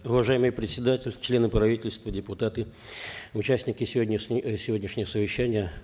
уважаемый председатель члены правительства депутаты участники сегодняшнего совещания